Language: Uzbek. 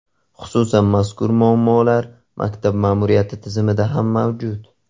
Xususan, mazkur muammolar maktab ma’muriyati tizimida ham mavjud.